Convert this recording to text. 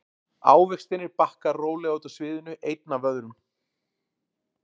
Ávextirnir bakka rólega út af sviðinu einn af öðrum.